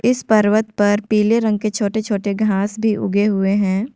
इस पर्वत पर पीले रंग के छोटे छोटे घांस भी उगे हुए हैं।